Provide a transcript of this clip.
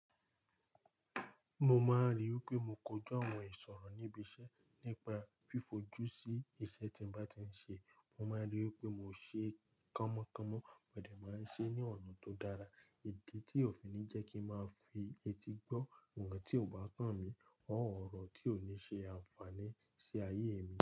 Mo máa rí i pé mo kójó àwọn ìṣọ̀rọ̀ níbi iṣẹ́ nípa fífo jú sí iṣẹ́ tí n bá ti ṣe. Mo máa rí i pé mo ṣe kánmọkánmọ mode máa ṣe ní ọ̀nà tó dára. Èdi tí òfin ńi jẹ́ kí ń máa fi etí gbọ́ ǹkan tí ò bá kán mi or orọ̀ tí ò ní ṣe àǹfààní sí ayé mi.